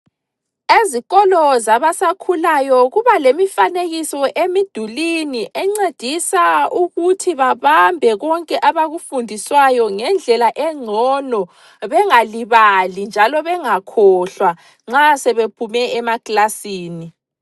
Ezikolo zabasakhulayo kuba lemifanekiso emidulini encedisa ukuthi babambe konke abakufundiswayo ngendlela engcono bengalibali njalo bengakhohlwa nxa sebephume emaklasini.